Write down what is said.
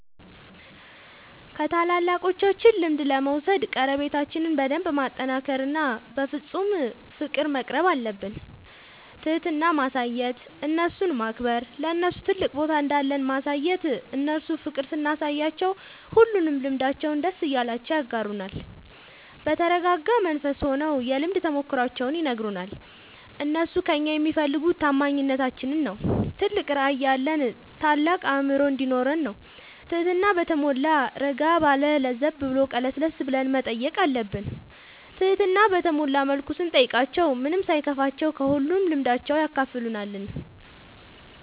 ከታላላቆቻችን ልምድ ለመውሰድ ቀረቤታችን በደንብ ማጠናከር እና በፍፁም ፍቅር መቅረብአለብን። ትህትና ማሳየት እነርሱን ማክበር ለነርሱ ትልቅ ቦታ እንዳለን ማሳየት እነርሱ ፍቅር ስናሳያቸው ሁሉንም ልምዳቸውን ደስ እያላቸው ያጋሩናል። በተረጋጋ መንፈስ ሆነው የልምድ ተሞክሯቸውን ይነግሩናል። እነርሱ ከእኛ የሚፈልጉ ታማኝነታችን ነው ትልቅ ራዕይ ያለን ታልቅ አእምሮ እንዲኖረን ነው ትህትና በተሟላ እረጋ ባለ ለዘብ ብሎ ቀለስለስ ብለን መጠየቅ አለብን ትህትና በተሞላ መልኩ ስንጠይቃቸው ምንም ሳይከፋቸው ከሁሉም ልምዳቸው ያካፍሉናል።